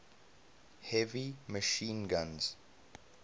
heavy machine guns